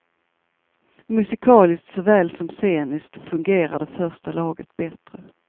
Musikaliskt såväl som sceniskt fungerar det första laget bättre.